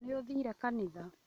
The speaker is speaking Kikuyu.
Nĩũthire kanitha?